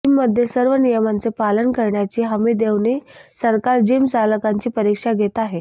जीममध्ये सर्व नियमांचे पालन करण्याची हमी देऊनही सरकार जीमचालकांची परीक्षा घेत आहे